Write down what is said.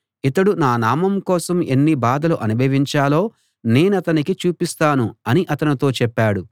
ఇతడు నా నామం కోసం ఎన్ని బాధలు అనుభవించాలో నేనతనికి చూపిస్తాను అని అతనితో చెప్పాడు